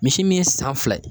Misi min ye san fila ye